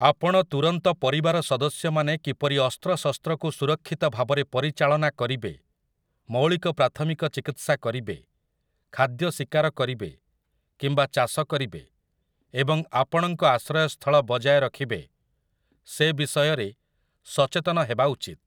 ଆପଣଙ୍କ ତୁରନ୍ତ ପରିବାର ସଦସ୍ୟମାନେ କିପରି ଅସ୍ତ୍ରଶସ୍ତ୍ରକୁ ସୁରକ୍ଷିତ ଭାବରେ ପରିଚାଳନା କରିବେ, ମୌଳିକ ପ୍ରାଥମିକ ଚିକିତ୍ସା କରିବେ, ଖାଦ୍ୟ ଶିକାର କରିବେ କିମ୍ବା ଚାଷ କରିବେ ଏବଂ ଆପଣଙ୍କ ଆଶ୍ରୟସ୍ଥଳବଜାୟ ରଖିବେ ସେ ବିଷୟରେ ସଚେତନ ହେବା ଉଚିତ୍ ।